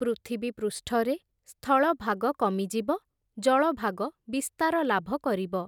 ପୃଥିବୀ ପୃଷ୍ଠରେ ସ୍ଥଳଭାଗ କମିଯିବ, ଜଳଭାଗ ବିସ୍ତାର ଲାଭ କରିବ ।